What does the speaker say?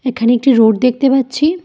এখানে একটি রোড দেখতে পাচ্ছি।